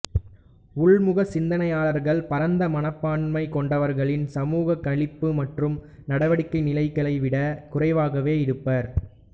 உள்முக சிந்தனையாளர்கள் பரந்த மனப்பான்மை கொண்டவர்களின் சமூகக் களிப்பு மற்றும் நடவடிக்கை நிலைகளை விடக் குறைவாகவே இருப்பர்